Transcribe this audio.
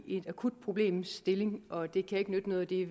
en akut problemstilling og det kan ikke nytte noget at det